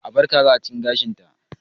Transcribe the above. A bar kaza a cikin gashinta